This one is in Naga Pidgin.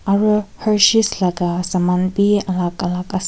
aru laga saman bi alak alak ase.